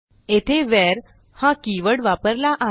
येथे WHEREहा कीवर्ड वापरला आहे